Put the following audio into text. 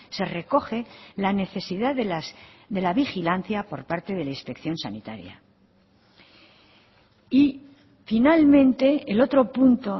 se recoge la necesidad de la vigilancia por parte de la inspección sanitaria y finalmente el otro punto